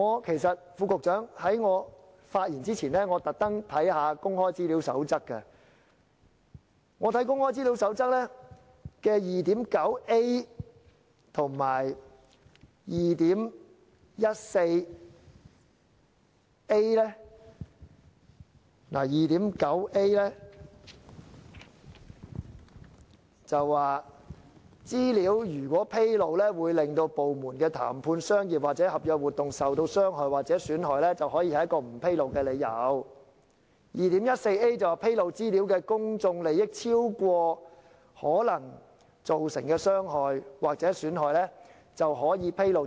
其實，局長，在我發言前，我特地翻閱了《公開資料守則》，當中第 2.9a 段指出：資料如果披露會令部門的談判、商業或合約活動受到傷害或損害，可以是一個不披露的理由；第 2.14a 段則指出：披露資料的公眾利益超過可能造成的傷害或損害，便可予以披露。